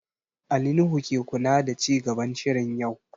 Ali Nuhu ke kula da ci gaban shirin yau